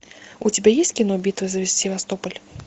у тебя есть кино битва за севастополь